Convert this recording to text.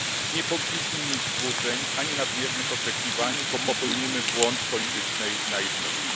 Nie powinniśmy mieć złudzeń ani nadmiernych oczekiwań, bo popełnimy błąd politycznej naiwności.